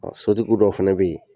Ɔ Sotigi dɔw fɛnɛ bɛ yen